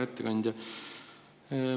Hea ettekandja!